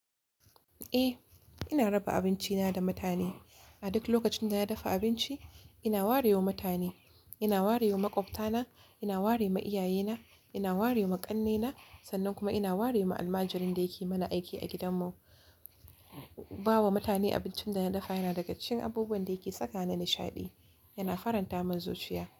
Eh, ina raba abinci na da mutane. A duk lokacin da na dafa abinci, ina warewa mutane. Ina warewa maƙwabta na, ina warewa iyaye na, ina warewa ma ƙannena sannan kuma ina warewa almajirin da yake mana aiki a gidan mu. Bawa mutane abincin da na dafa yana daga cikin abubuwan da yake saka ni nishaɗi. Yana faranta mun zuciya.